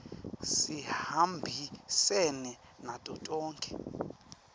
sihambisene nato tonkhe